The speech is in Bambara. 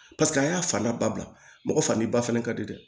Paseke an y'a fanda ba bila mɔgɔ fani ba fana ka di dɛ